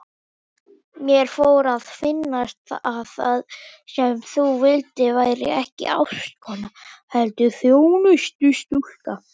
Mér fór að finnast að það sem þú vildir væri ekki ástkona heldur þjónustustúlka.